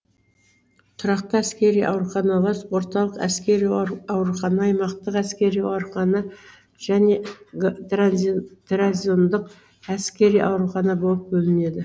тұрақты әскери ауруханалар орталық әскери аурухана аймақтық әскери аурухана және гразондық әскери аурухана болып бөлінеді